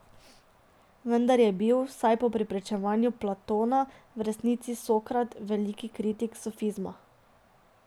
Vendar je bil, vsaj po pričevanju Platona, v resnici Sokrat velik kritik sofizma.